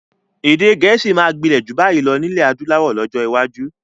Èdè gẹ̀ẹ́sì máa gbinlẹ ju bayi lọ nilẹ adúláwọ̀ lọ́jọ́ iwájú